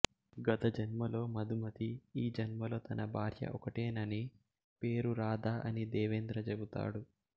గత జన్మలో మధుమతి ఈ జన్మలో తన భార్య ఒకటేనని పేరు రాధా అని దేవేంద్ర చెబుతాడు